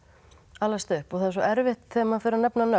alast upp það er svo erfitt þegar maður fer að nefna nöfn